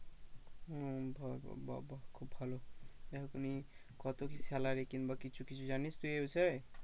উম উম বা বা খুব ভালো কত কি salary কিংবা কিছু কিছু জানিস তুই এই বিষয়ে?